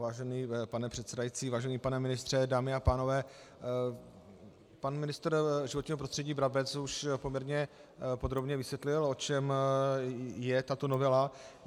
Vážený pane předsedající, vážený pane ministře, dámy a pánové, pan ministr životního prostředí Brabec už poměrně podrobně vysvětlil, o čem je tato novela.